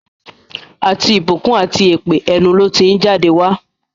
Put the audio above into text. Àti ìbùkún àti èpè, ẹnu ló ti ń jáde wá.